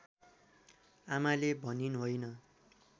आमाले भनिन् होइन